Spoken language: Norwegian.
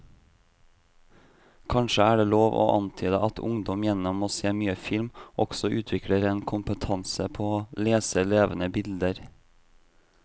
Kanskje er det lov å antyde at ungdom gjennom å se mye film også utvikler en kompetanse på å lese levende bilder.